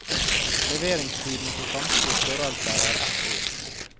Leveringstiden på samtlige størrelser er ett år.